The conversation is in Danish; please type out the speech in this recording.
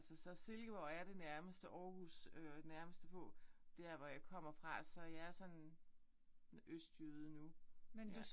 Så så så Silkeborg er det nærmeste Aarhus øh nærmeste på hvor jeg kommer fra så jeg er sådan østjyde nu ja